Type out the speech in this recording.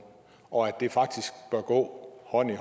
og at det faktisk bør gå hånd i